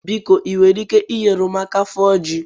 Biko ị nwere ike nyere m aka fụọ ji?